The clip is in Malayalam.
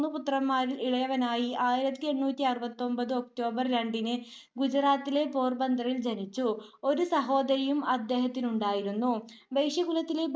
പുത്രന്മാരിൽ ഇളയവനായി ആയിരത്തി എണ്ണൂറ്റി അറുപത്തി ഒൻപതു ഒക്ടോബർ രണ്ടിന് ഗുജറാത്തിലെ പോർബന്ദറിൽ ജനിച്ചു. ഒരു സഹോദരിയും അദ്ദേഹത്തിനുണ്ടായിരുന്നു. വൈശ്യകുലത്തിലെ